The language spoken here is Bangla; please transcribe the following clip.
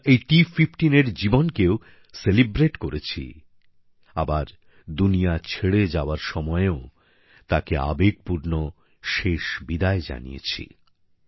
আমরা এই T15 এর জীবনকেও উদযাপিত করেছি আবার দুনিয়া ছেড়ে যাওয়ার সময়ও তাকে আবেগপূর্ণ শেষ বিদায় জানিয়েছি